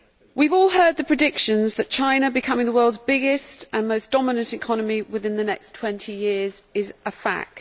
We have all heard the predictions, that China becoming the world's biggest and most dominant economy within the next 20 years is a fact.